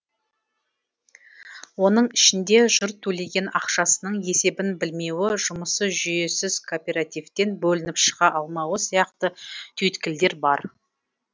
оның ішінде жұрт төлеген ақшасының есебін білмеуі жұмысы жүйесіз кооперативтен бөлініп шыға алмауы сияқты түйткілдер бар